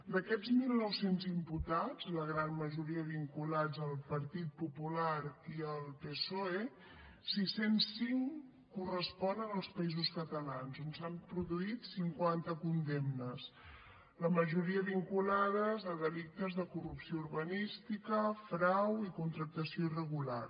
d’aquests mil nou cents imputats la gran majoria vinculats al partit popular i al psoe sis cents i cinc corresponen als països catalans on s’han produït cinquanta condemnes la majoria vinculades a delictes de corrupció urbanística fraus i contractació irregular